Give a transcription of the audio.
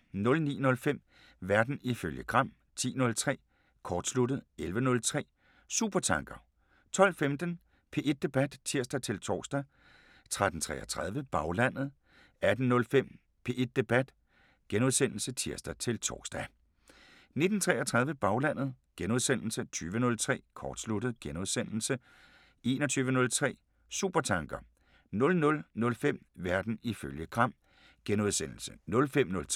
09:05: Verden ifølge Gram 10:03: Kortsluttet 11:03: Supertanker 12:15: P1 Debat (tir-tor) 13:33: Baglandet 18:05: P1 Debat *(tir-tor) 19:33: Baglandet * 20:03: Kortsluttet * 21:03: Supertanker 00:05: Verden ifølge Gram *